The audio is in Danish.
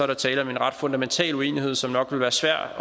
der tale om en ret fundamental uenighed som nok vil være svær at